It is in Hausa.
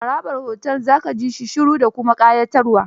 Harabar otel za ka ji shi shiru da kuma ƙayatarwa.